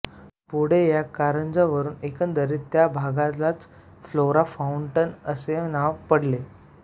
पुढे या कारंजावरून एकंदरीत त्या भागालाच फ्लोरा फाउंटन असे नाव पडले